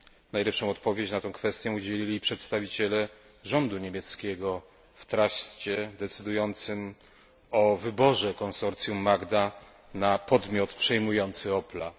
Najlepszej odpowiedzi na tę kwestię udzielili przedstawiciele rządu niemieckiego w truście decydującym o wyborze konsorcjum Magna na podmiot przejmujący Opla.